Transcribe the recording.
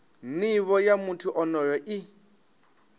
nivho ya muthu onoyo i